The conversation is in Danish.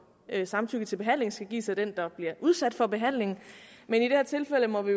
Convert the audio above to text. at samtykket til behandlingen skal gives af den der bliver udsat for behandlingen men i det her tilfælde må vi